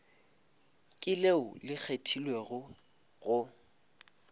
ke leo le kgethegilego go